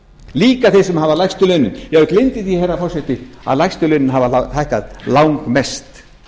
líka þeir sem hafa lægstu launin já ég gleymdi því að lægstu launin hafa hækkað langmest